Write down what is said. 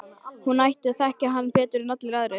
Hún sem ætti að þekkja hann betur en allir aðrir.